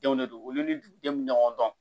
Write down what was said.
Denw de don olu ni dugudenw ɲɔgɔn dɔn